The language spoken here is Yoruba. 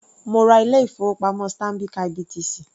Mo ra ilé ìfowópamọ́ Stanbic IBTC.